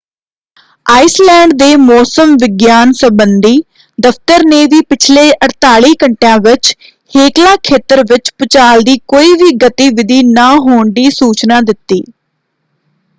Iceland ਦੇ ਮੌਸਮ ਵਿਗਿਆਨ ਸੰਬੰਧੀ ਦਫ਼ਤਰ ਨੇ ਵੀ ਪਿਛਲੇ 48 ਘੰਟਿਆਂ ਵਿੱਚ ਹੇਕਲਾ ਖੇਤਰ ਵਿੱਚ ਭੂਚਾਲ ਦੀ ਕੋਈ ਵੀ ਗਤੀਵਿਧੀ ਨਾ ਹੋਣ ਦੀ ਸੂਚਨਾ ਦਿੱਤੀ।